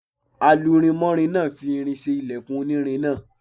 Alurinmọ́rin náà fi irin ṣe ilẹkùn onírin náà.